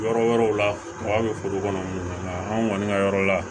Yɔrɔ wɛrɛw la kaba bɛ foro kɔnɔ nka anw kɔni ka yɔrɔ la